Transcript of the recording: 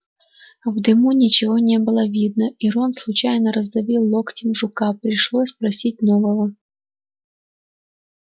в дыму ничего не было видно и рон случайно раздавил локтем жука пришлось просить нового